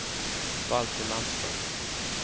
Valter Landström